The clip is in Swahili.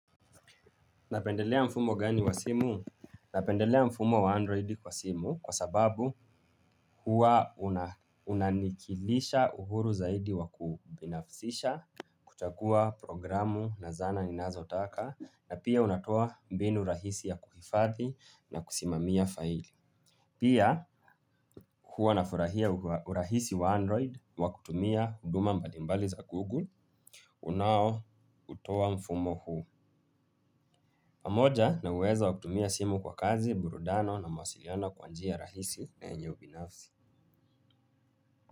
Napendelea mfumo gani wa simu? Napendelea mfumo wa android kwa simu kwa sababu huwa unanikidhisha uhuru zaidi wa kubinafsisha, kuchagua programu na zana ninazotaka na pia unatoa mbinu rahisi ya kuhifadhi na kusimamia faili pia huwa nafurahia urahisi wa android wa kutumia huduma mbali mbali za google unaoutoa mfumo huu pamoja na uwezo wa kutumia simu kwa kazi, burudani na mawasiliano kwa njia rahisi na yeenye ubinafsi.